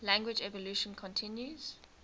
language evolution continues